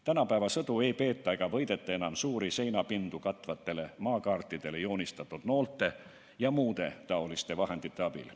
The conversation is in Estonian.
Tänapäeva sõdu ei peeta ega võideta enam suuri seinapindu katvatele maakaartidele joonistatud noolte jms abil.